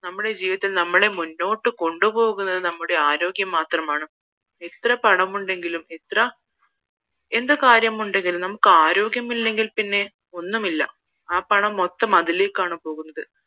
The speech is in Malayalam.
നമ്മടെ ജീവിതത്തിൽ നമ്മളെ മുന്നോട്ട് കൊണ്ട് പോകുന്നത് നമ്മുടെ ആരോഗ്യം മാത്രമാണ് എത്ര പണമുണ്ടെങ്കിലും എത്ര എന്ത് കാര്യമുണ്ടെങ്കിലും നയ്ക്ക് ആരോഗ്യം ഇല്ലെങ്കിൽ ഒന്നുമില്ല ആ പണം മൊത്തം അതിലേക്കാണ് പോകുന്നത്